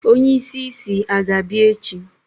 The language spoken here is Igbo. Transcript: onye isi isi a ga-abia echi?